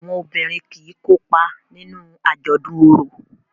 Àwọn obìrin kí kópa nínú ajọdun oro.